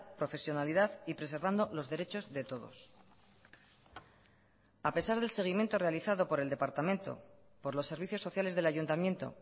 profesionalidad y preservando los derechos de todos a pesar del seguimiento realizado por el departamento por los servicios sociales del ayuntamiento